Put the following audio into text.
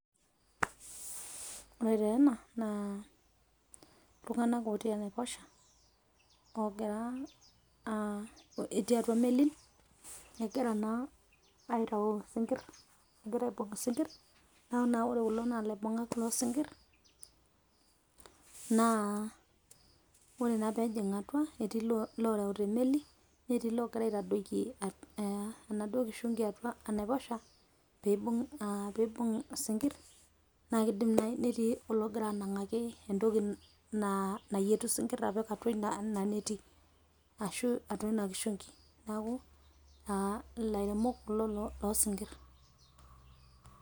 Ore taa ena naa iltung'anak otii enaiposha oogira aah, etii atua melin egira naa aitayu isinkirr, egira aibung' isinkirr neeku naa ore kulo naa ilaibung'ak loosinkirr. Naa ore naa peejing' atua etii ilooreuta emeli netii iloogira aitadoiki enaduo kishungi atua enaiposha peibung' isinkirr naa keidim naaji netii ologira anang'aki entoki nayietu isinkirr apik atua inaneti ashu atua ina kishungi, neeku ilairemok kulo loosinkirr.